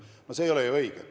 No see ei ole ju õige.